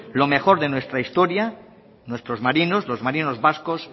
lo mejor de nuestra historia nuestros marinos los marinos vascos